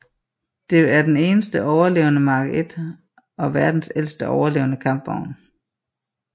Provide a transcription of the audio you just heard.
Det er den eneste overlevende Mark I og verdens ældste overlevende kampvogn